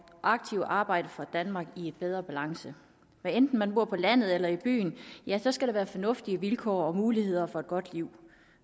aktivt arbejde for et danmark i bedre balance hvad enten man bor på landet eller i byen skal der være fornuftige vilkår og muligheder for et godt liv